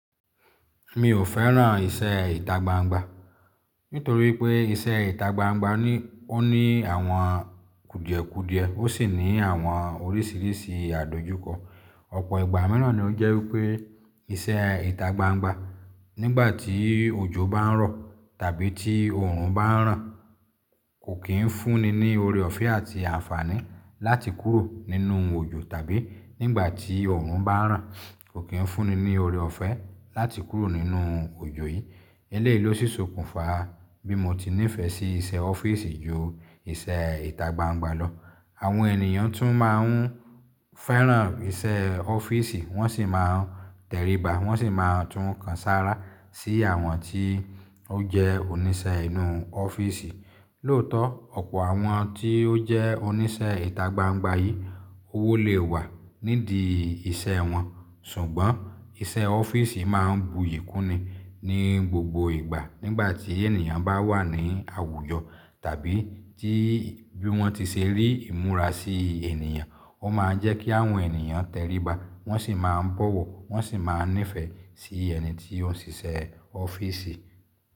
Mi ò fẹ́ràn iṣẹ́ ìta gbangba, nítorí pé iṣẹ́ ìta gbangba ní, ó ní àwọn kùdìẹ̀kùdìẹ̀, ó sì ní àwọn oríṣìíríṣìí àdojúkọ. Ọ̀pọ̀ ìgbà mìíràn ni ó jẹ́ wípé iṣẹ́ ìta gbangba nígbà tí òjò bá ń rọ̀ tàbí tí oòrùn bá ń ràn, kò kí ń fúnni ní oore ọ̀fẹ́ àti àǹfààní láti kúrò nínú òjò tàbí nígbà tí oòrùn bá ń ràn, kò kí ń fúnni ní oore ọ̀fẹ́ láti kúrò nínú òjò yìí. Eléyìí ló si ṣókùnfà bí mo ti nífẹ̀ẹ́ sí iṣẹ́ ọ́fíìsì ju iṣẹ́ ìta gbangba lọ. Àwọn ènìyàn tún máa ń fẹ́ràn iṣẹ́ ọ́fíìsì, wọ́n sì máa ń tẹríba, wọ́n sì máa tún kan sára sí àwọn tí ó jẹ́ oníṣẹ́ inú ọ́fíìsì. Lóòótọ́, ọ̀pọ̀ àwọn tí ó jẹ́ oníṣẹ́ ìta gbangba yìí, owó lè wà nídìí iṣẹ́ wọn, ṣùgbọ́n iṣẹ́ ọ́fíìsì máa ń buyì kúni ní gbogbo ìgbà nígbà tí ènìyàn bá wà ní àwùjọ tàbí tí bí wọ́n ti ṣe rí ìmúra sí ènìyàn, ó máa ń jẹ́ kí àwọn ènìyàn tẹríba, wọ́n sì máa ń bọ̀wọ̀, wọ́n sì máa ń nífẹ̀ẹ́ sí ẹni tí ó ń ṣiṣẹ́ ọ́fíìsì.